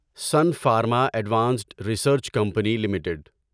sun Pharma Advanced Research Company limited